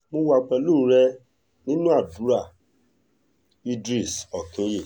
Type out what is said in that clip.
mo wà pẹ̀lú rẹ̀ nínú àdúrà idris okinye